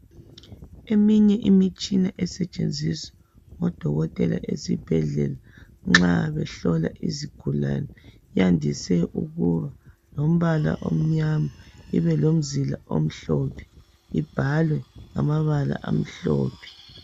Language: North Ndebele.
Eminye imitshina esetshenziswa ngodokotela esibhedlela nxa behlola izigulane yandise ukuba lombala omnyama ibe lomzila omhlophe, ibhalwe ngamabala amhlophe.